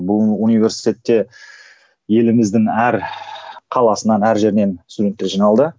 бұл университетте еліміздің әр қаласынан әр жерінен студенттер жиналды